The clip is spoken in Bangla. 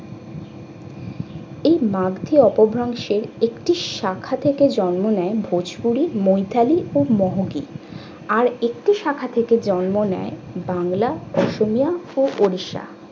এই অংশের একটি শাখা থেকে জন্ম নেয় ভোজপুরি মুইতালি ও মোহগি। আর একটি শাখা থেকে জন্ম নেয় বাংলা, অসম্য ও ওড়িষ্যা